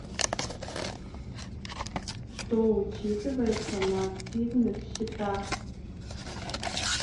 что учитывается на активных счетах